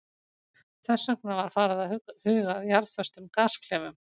Þess vegna var farið að huga að jarðföstum gasklefum.